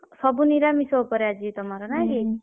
ସବୁ ନିରାମିଷ ଉପରେ ଆଜି ତମର ନାକି?